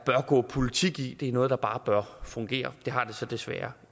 gå politik i det er noget der bare bør fungere det har det så desværre